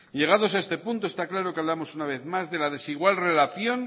llegados a este punto está claro que hablamos una vez más de la desigual relación